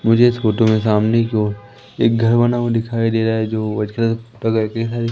मुझे इस फोटो में सामने की ओर एक घर बना हुआ दिखाई दे रहा है जो व्हाइट कलर का करके है।